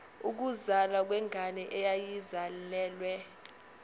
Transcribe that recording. ukuzalwa kwengane eyayizalelwe